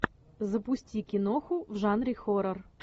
запусти киноху в жанре хоррор